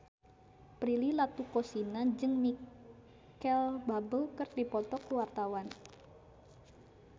Prilly Latuconsina jeung Micheal Bubble keur dipoto ku wartawan